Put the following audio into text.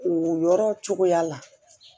O yɔrɔ cogoya la